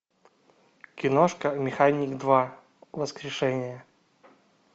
киношка механик два воскрешение